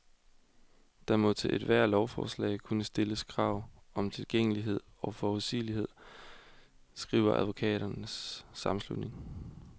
Der må til ethvert lovforslag kunne stilles krav om tilgængelighed og forudsigelighed, skriver advokaternes sammenslutning.